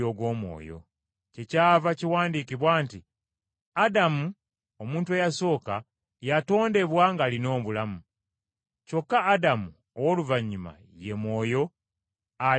kyekyava kiwandiikibwa nti, “Adamu, omuntu eyasooka, yatondebwa ng’alina obulamu.” Kyokka Adamu ow’oluvannyuma ye Mwoyo aleeta obulamu.